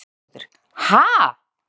Gyða Svavarsdóttir: Ha?